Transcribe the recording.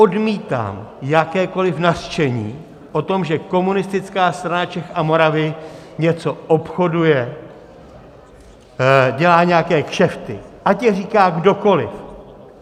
Odmítám jakékoliv nařčení o tom, že Komunistická strana Čech a Moravy něco obchoduje, dělá nějaké kšefty, ať je říká kdokoliv.